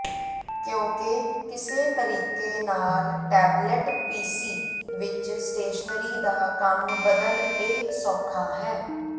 ਕਿਉਕਿ ਕਿਸੇ ਤਰੀਕੇ ਨਾਲ ਟੈਬਲੇਟ ਪੀਸੀ ਵਿੱਚ ਸਟੇਸ਼ਨਰੀ ਦਾ ਕੰਮ ਬਦਲ ਇਹ ਸੌਖਾ ਹੈ